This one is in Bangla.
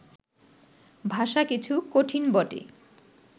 ভাষা কিছু কঠিন বটে